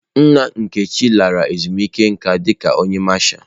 Nna Nkechi lara ezumike nka dika onye Masha.